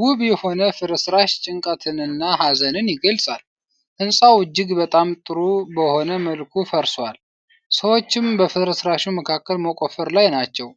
ውብ የሆነ ፍርስራሽ ጭንቀትንና ሀዘንን ይገልጻል። ሕንፃው እጅግ በጣም ጥሩ በሆነ መልኩ ፈርሷል፤ ሰዎችም በፍርስራሹ መካከል መቆፈር ላይ ናቸው።